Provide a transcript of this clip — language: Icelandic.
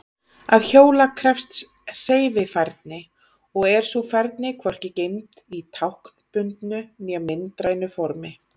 Að hjóla krefst hreyfifærni og er sú færni hvorki geymd í táknbundnu né myndrænu formi.